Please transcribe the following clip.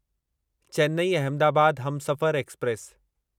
Chennai Ahmedabad Humsafar express